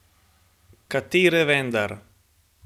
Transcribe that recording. Katere vendar?